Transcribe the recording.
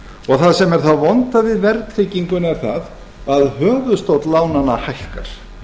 og það sem er það vonda við verðtrygginguna er það að höfuðstóll lánanna hækkar